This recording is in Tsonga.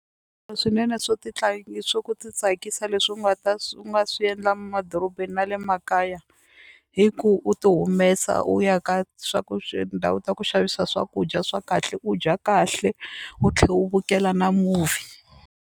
swinene swo swo ku titsakisa leswi u nga ta swi u nga swi endla madorobeni na le makaya hi ku u tihumesa u ya ka swa ku ta ku xavisa swakudya swa kahle u dya kahle u tlhe u vukela na movie.